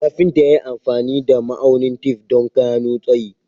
Kafinta ya yi amfani da ma'aunin tef don gano tsayi.